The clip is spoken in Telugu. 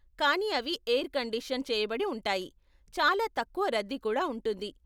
కానీ అవి ఎయిర్ కండిషన్ చేయబడి ఉంటాయి, చాలా తక్కువ రద్దీ కుడా ఉంటుంది.